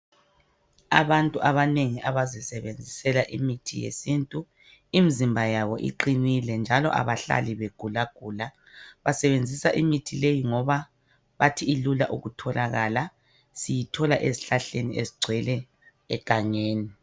Abantu abanengi abazisebenzisela imithi yesintu imizimba yabo iqinile njalo abahlali begulagula. Basebenzisa imithi leyi ngoba bathi ilula ukutholakala. Siyithola ezihlahleni ezigcwele egangeni.